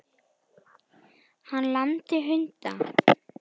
Hann lamdi hunda